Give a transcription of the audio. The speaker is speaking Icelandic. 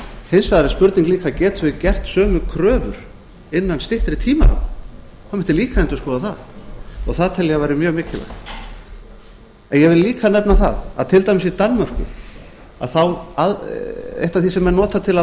hins vegar er spurning líka getum við gert sömu kröfur innan styttri tímaramma það mætti líka endurskoða það og það tel ég að væri mjög mikilvægt ég vil líka nefna það að til dæmis í danmörku eitt af því sem menn nota til að